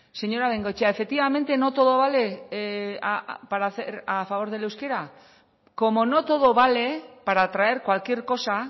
señora bengoechea efectivamente no todo vale para hacer a favor del euskera como no todo vale para traer cualquier cosa